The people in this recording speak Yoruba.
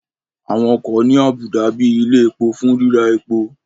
Àwọn ọkọ̀ ní àbùdá bíi ilẹ̀ epo fún ríra epo